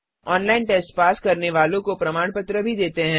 online test pass करने वालों को प्रमाण पत्र भी देते हैं